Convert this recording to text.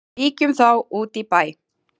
Víkjum þá út í bæ.